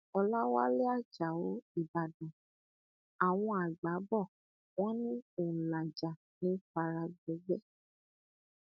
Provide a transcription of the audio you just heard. ọlàwálẹ ajáò ìbàdàn àwọn àgbà bò wọn ní òǹlàjà ní í fara gbọgbẹ